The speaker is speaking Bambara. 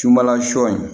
Sunbala sɔ in